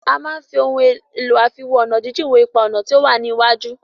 A máà fí ohun èlò àfiwo-ọ̀nàjíjìn wo ipa-ọ̀nà tí o wá ní iwájú.